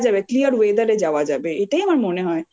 clear weather এ যাওয়া যাবে এটাই আমার মনে হয়